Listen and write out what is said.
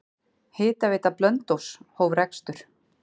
Hitaveita Blönduóss hóf rekstur.